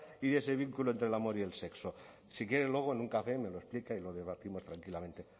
y ese vínculo entre el amor y el sexo si quiere luego en un café me lo explica y lo debatiremos tranquilamente